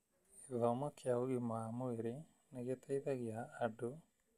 Gĩthomo kĩa ũgima wa mwĩrĩ nĩ gĩteithagia andũ